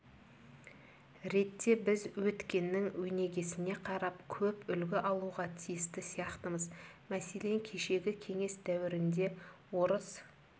ретте біз өткеннің өнегесіне қарап көп үлгі алуға тиісті сияқтымыз мәселен кешегі кеңес дәуірінде орыс